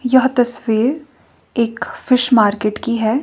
यह तस्वीर एक फिश मार्केट की है।